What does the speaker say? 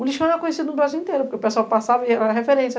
O lixão era conhecido no Brasil inteiro, porque o pessoal passava e era referência.